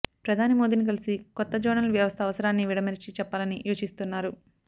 ప్రధాని మోదీని కలిసి కొత్త జోనల్ వ్యవస్థ అవసరాన్ని విడమరిచి చెప్పాలని యోచిస్తున్నారు